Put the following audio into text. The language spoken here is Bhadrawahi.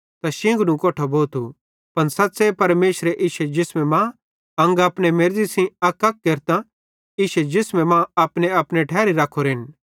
पन सच़्च़े परमेशरे इश्शे जिसमे मां अंग अपने मेर्ज़ी सेइं अकअक केरतां इश्शे जिसमे मां अपनेअपने ठैरी रखोरेन